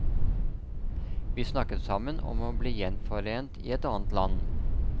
Vi snakket sammen om å bli gjenforent i et annet land.